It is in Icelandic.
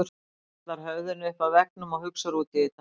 Hann hallar höfðinu upp að veggnum og hugsar út í þetta.